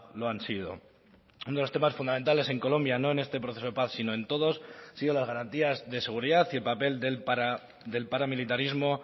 lo han sido uno de los temas fundamentales en colombia no en este proceso de paz sino en todos han sido las garantías de seguridad y el papel del paramilitarismo